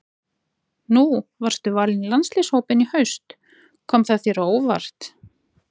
Nú varstu valinn í landsliðshópinn í haust, kom það þér á óvart?